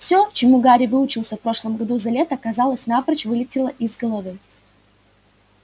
всё чему гарри выучился в прошлом году за лето казалось напрочь вылетело из головы